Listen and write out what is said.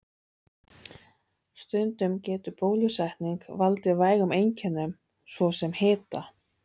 Stundum getur bólusetning valdið vægum einkennum, svo sem hita.